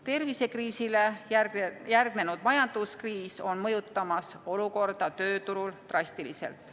Tervisekriisile järgnenud majanduskriis on mõjutamas olukorda tööturul drastiliselt.